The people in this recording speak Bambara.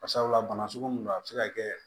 Bari sabula bana sugu mun don a bɛ se ka kɛ